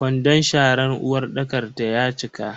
Ƙwandon sharan uwarɗakar ta ya cika.